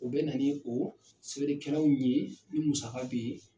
O bɛna ni o sɛbɛnnikɛlaw ɲe ni musaka be yen.